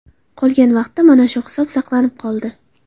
Qolgan vaqtda mana shu hisob saqlanib qoldi.